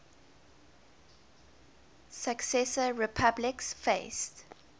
successor republics faced